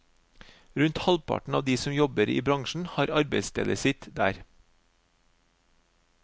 Rundt halvparten av de som jobber i bransjen har arbeidsstedet sitt der.